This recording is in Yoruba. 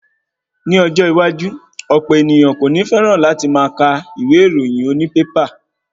Ni ọjọ́ iwájú, ọ̀pọ̀ ènìyàn kò ní féràn láti máa ka ìwé ìròyìn oní bébà.